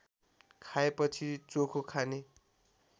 खाएपछि चोखो खाने